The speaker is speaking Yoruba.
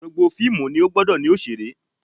Gbogbo fíìmù ni ó gbọdọ̀ ní òṣèré